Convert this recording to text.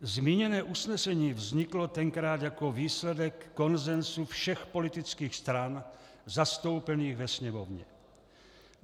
Zmíněné usnesení vzniklo tenkrát jako výsledek konsenzu všech politických stran zastoupených ve Sněmovně.